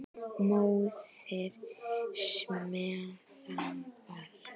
Móðir með barn.